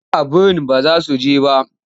Aa birin ba za su je ba.